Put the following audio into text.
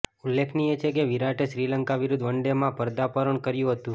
ઉલ્લેખનીય છે કે વિરાટે શ્રીલંકા વિરુદ્ધ વનડેમાં પર્દાપણ કર્યું હતું